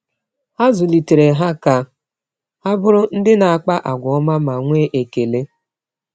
Ha zụlitere ha ka ha bụrụ ndị na-akpa àgwà ọma ma nwee ekele.